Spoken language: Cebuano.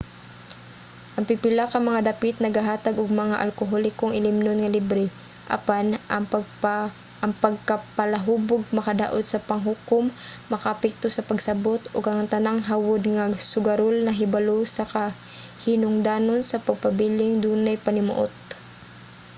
ang pipila ka mga dapit nagahatag og mga alkoholikong ilimnon nga libre. apan ang pagkapalahubog makadaot sa panghukom/makaapekto sa pagsabot ug ang tanang hawod nga sugarol nahibalo sa kahinungdanon sa pagpabiling dunay panimuot